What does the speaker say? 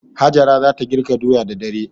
Hajara za ta girka doya da dare.